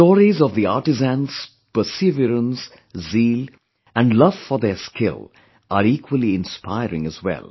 The stories of the artisans' perseverance, zeal & love for their skill are equally inspiring as well